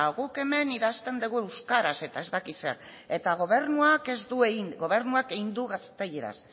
guk hemen idazten degu euskaraz eta ez daki zer eta gobernuak ez du egin gobernuak egin du gazteleraz